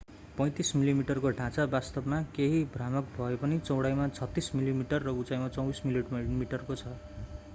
35 मिलिमिटरको ढाँचा वास्तवमा केही भ्रामक भए पनि चौडाईमा 36 मिलिमिटर र उचाइमा 24 मिलिमिटरको छ